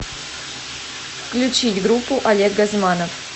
включить группу олег газманов